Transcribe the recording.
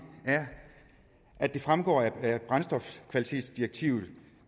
er at det fremgår af brændstofkvalitetsdirektivet